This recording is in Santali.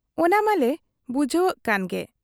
ᱚᱱᱟ ᱢᱟᱞᱮ ᱵᱩᱡᱷᱟᱹᱣᱜ ᱠᱟᱱ ᱜᱮ ᱾